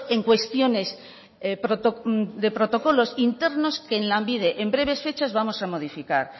en cuestiones de protocolos internos que en lanbide en breves fechas vamos a modificar